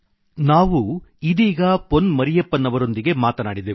ನಾವು ಇದೀಗ ಪೊನ್ ಮರಿಯಪ್ಪನ್ ಅವರೊಂದಿಗೆ ಮಾತನಾಡಿದೆವು